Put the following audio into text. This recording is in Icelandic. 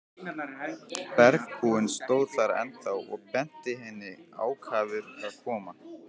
Bergbúinn stóð þar ennþá og benti henni ákafur að koma.